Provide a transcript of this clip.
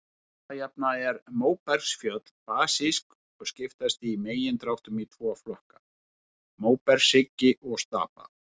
Alla jafna eru móbergsfjöll basísk og skiptast í megindráttum í tvo flokka, móbergshryggi og stapa.